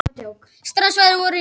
Strandsvæði voru rýmd